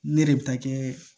Ne de bɛ taa kɛ